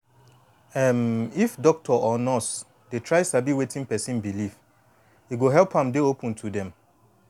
em if doctor or nurse dey try sabi wetin person belief e go help am dey open to dem